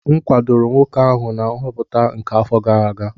M kwadoro nwoke ahụ na nhọpụta nke afọ gara aga